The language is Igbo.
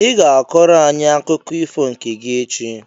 I ga-akọrọ anyị akụkọ ifo nke gị echi!